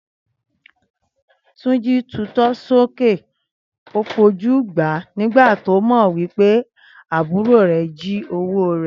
Túnjí tutọ́ sókè fojú gbà á nígbà tó mọ̀ wí pé àbúrò rẹ̀ jí owó rẹ̀